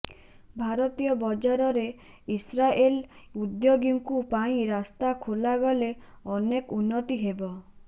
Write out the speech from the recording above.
ଭାରତୀୟ ବଜାରରେ ଇସ୍ରାଏଲ ଉଦ୍ୟୋଗୀଙ୍କୁ ପାଇଁ ରାସ୍ତା ଖୋଲାଗଲେ ଅନେକ ଉନ୍ନତି ହେବ